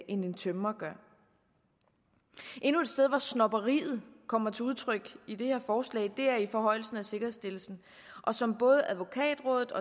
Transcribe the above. en tømrer gør endnu et sted hvor snobberiet kommer til udtryk i det her forslag er i forhøjelsen af sikkerhedsstillelsen som både advokatrådet